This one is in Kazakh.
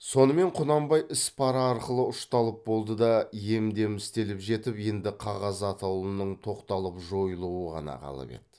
сонымен құнанбай ісі пара арқылы ұшталып болды да ем дем істеліп жетіп енді қағаз атаулының тоқталып жойылуы ғана қалып еді